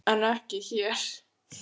En ekki hér!